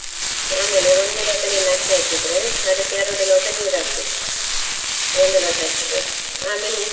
, ಆಮೇಲೆ ಒಂದು ಲೋಟ ನೀನ್ ಅಕ್ಕಿ ಹಾಕಿದ್ರೆ, ಅದಕ್ಕೆ ಎರಡು ಲೋಟ ನೀರ್ ಹಾಕ್ಬೇಕು ಒಂದು ಲೋಟ ಅಕ್ಕಿಗೆ ಆಮೇಲೆ ಉಪ್ಪು.